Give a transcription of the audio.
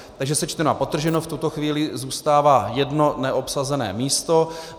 Takže sečteno a podtrženo, v tuto chvíli zůstává jedno neobsazené místo.